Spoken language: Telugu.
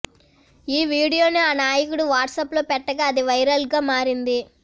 ఈ వీడియోను ఆ నాయకుడు వాట్సప్లో పెట్టగా అది వైరల్గా మారింది